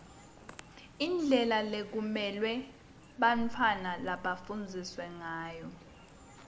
indlela lekumelwe bantfwana bafundze ngayo